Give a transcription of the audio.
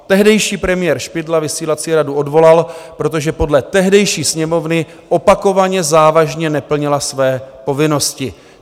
Tehdejší premiér Špidla vysílací radu odvolal, protože podle tehdejší Sněmovny opakovaně závažně neplnila své povinnosti.